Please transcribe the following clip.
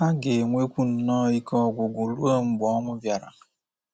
Ha ga-enwekwu nnọọ ike ọgwụgwụ ruo mgbe ọnwụ bịara.